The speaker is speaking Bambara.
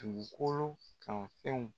Dugukolo kan fɛnw.